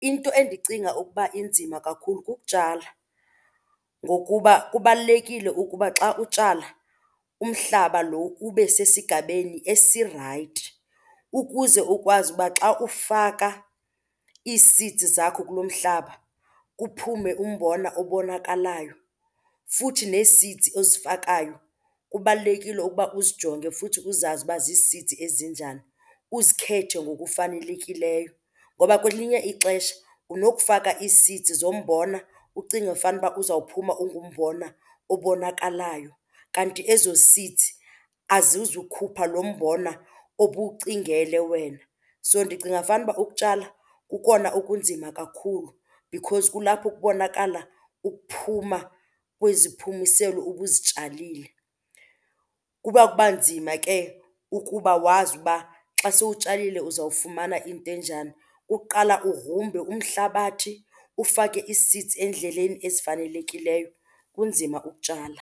Into endicinga ukuba inzima kakhulu kukutshala ngokuba kubalulekile ukuba xa utshala umhlaba lo ube sesigabeni esirayithi ukuze ukwazi uba xa ufaka ii-seeds zakho kulo mhlaba kuphume umbona obonakalayo. Futhi nee-seeds ozifakayo kubalulekile ukuba uzijonge futhi uzazi uba zii-seeds ezinjani, uzikhethe ngokufanelekileyo. Ngoba kwelinye ixesha unokufaka ii-seeds zombona ucinge fanuba uzawuphuma ungumbona obonakalayo kanti ezo seeds azizukhupha lo mbona obuwucingele wena. So ndicinga fanuba ukutshala kukona okunzima kakhulu because kulapho kubonakala ukuphuma kweziphumiselo ubuzitshalile. Kuba, kuba nzima ke ukuba wazi uba xa sowutshalile uzawufumana into enjani. Ukuqala ugrumbe umhlabathi, ufake ii-seeds eendleleni ezifanelekileyo, kunzima ukutshala.